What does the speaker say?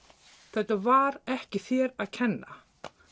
þetta var ekki þér að kenna